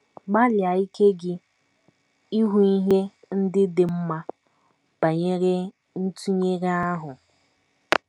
Gbalịa ike gị ịhụ ihe ndị dị mma banyere ntụnyere ahụ.